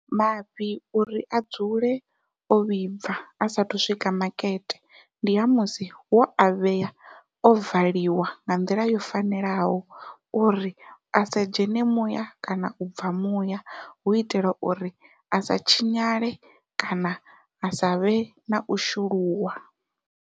Mafhi uri a dzule o vhibva a sathu swika makete, ndi ha musi wo a vhea o valiwa nga nḓila yo fanelaho uri a sa dzhene muya kana u bva muya hu itela uri a sa tshinyale kana a savhe nau shuluwa.